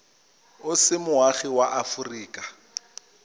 o se moagi wa aforika